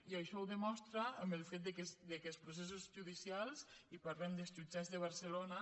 i això es demostra amb el fet que els processos judicials i parlem dels jutjats de barcelona